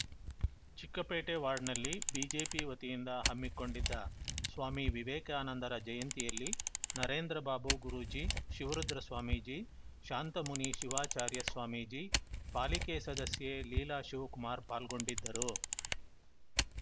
ಚಿಕ್ಕಪೇಟೆ ವಾರ್ಡ್‌ನಲ್ಲಿ ಬಿಜೆಪಿ ವತಿಯಿಂದ ಹಮ್ಮಿಕೊಂಡಿದ್ದ ಸ್ವಾಮಿ ವಿವೇಕಾನಂದರ ಜಯಂತಿಯಲ್ಲಿ ನರೇಂದ್ರ ಬಾಬು ಗುರೂಜಿ ಶಿವರುದ್ರ ಸ್ವಾಮೀಜಿ ಶಾಂತಮುನಿ ಶಿವಾಚಾರ್ಯ ಸ್ವಾಮೀಜಿ ಪಾಲಿಕೆ ಸದಸ್ಯೆ ಲೀಲಾ ಶಿವಕುಮಾರ್‌ ಪಾಲ್ಗೊಂಡಿದ್ದರು